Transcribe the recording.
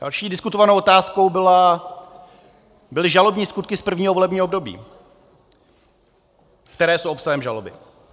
Další diskutovanou otázkou byly žalobní skutky z prvního volebního období, které jsou obsahem žaloby.